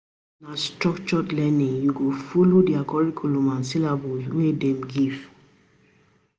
If na structured learning, you go folo di curriculum and syllabus wey dem give.